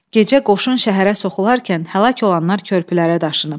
Gecə qoşun şəhərə soxularkən həlak olanlar körpülərə daşınıb.